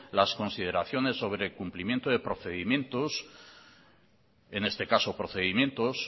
las consideraciones sobre cumplimiento de procedimientos en este caso procedimientos